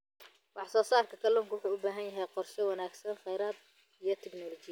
Wax-soo-saarka kalluunka wuxuu u baahan yahay qorshe wanaagsan oo kheyraad iyo tignoolajiyadeed.